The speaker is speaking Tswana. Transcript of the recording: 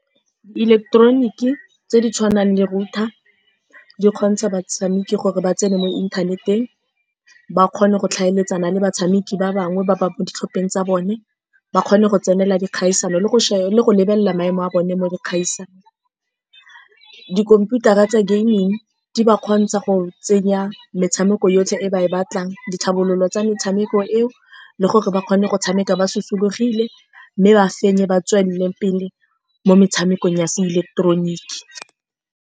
Ileketeroniki tse di tshwanang le router, di kgontsha batshameki gore ba tsene mo inthaneteng, ba kgone go tlhaeletsana le batshameki ba bangwe ba ba mo ditlhopheng tsa bone, ba kgone go tsenela dikgaisano le go , le go lebelela maemo a bone mo dikgaisano. Dikhomputara tsa gaming di ba kgontsha go tsenya metshameko yotlhe e ba e batlang, ditlhabololo tsa metshameko eo, le gore ba kgone go tshameka ba lokologile, mme ba fenye ba tswelele pele mo metshamekong ya seileketeroniki.